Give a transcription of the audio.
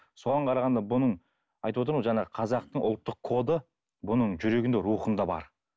соған қарағанда бұның айтып отырмын ғой жаңағы қазақтың ұлттық коды бұның жүрегінде рухында бар